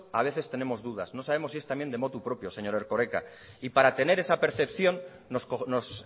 a veces tenemos dudas no sabemos si es también de motu propio señor erkoreka y para tener esa percepción nos